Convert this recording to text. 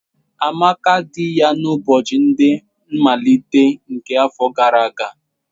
Amaka di ya n'ụbọchị ndị nmalite nke afọ gara aga.